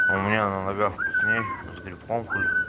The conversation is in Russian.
у меня на ногах вкусней с грибком хуль